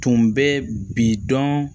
Tun bɛ bi dɔn